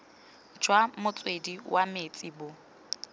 jwa motswedi wa metsi bo